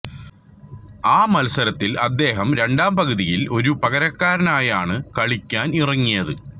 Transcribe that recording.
ആ മത്സരത്തിൽ അദ്ദേഹം രണ്ടാം പകുതിയിൽ ഒരു പകരക്കാരനായാണ് കളിക്കാനിറങ്ങിയത്